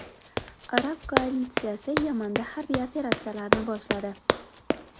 Arab koalitsiyasi Yamanda harbiy operatsiyalarni boshladi.